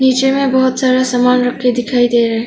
पीछे में बहुत सारा सामान रख के दिखाई दे रहा है।